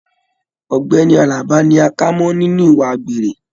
Ọgbẹni Àlàbá ni a kà mọ nínú ìwà àgbèrè.